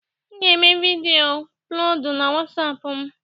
M ga-eme vidiyo ọplọdụ na wasapụ m.